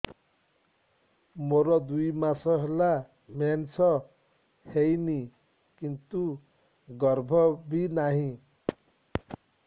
ମୋର ଦୁଇ ମାସ ହେଲା ମେନ୍ସ ହେଇନି କିନ୍ତୁ ଗର୍ଭ ବି ନାହିଁ